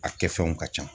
A kɛfɛnw ka ca